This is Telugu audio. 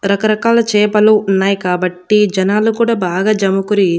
రకరకాల చేపలు ఉన్నాయి కాబట్టి జనాలు కూడా బాగా జమకురి--